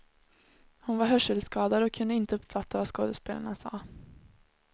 Hon var hörselskadad och kunde inte uppfatta vad skådespelarna sade.